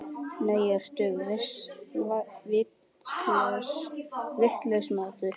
Nei, ertu vitlaus maður!